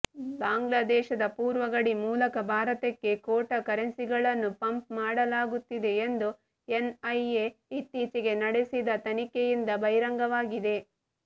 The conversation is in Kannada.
ಬಾಂಗ್ಲಾದೇಶದ ಪೂರ್ವ ಗಡಿ ಮೂಲಕ ಭಾರತಕ್ಕೆ ಖೋಟಾ ಕರೆನ್ಸಿಗಳನ್ನು ಪಂಪ್ ಮಾಡಲಾಗುತ್ತಿದೆ ಎಂದು ಎನ್ಐಎ ಇತ್ತೀಚೆಗೆ ನಡೆಸಿದ ತನಿಖೆಯಿಂದ ಬಹಿರಂಗವಾಗಿದೆ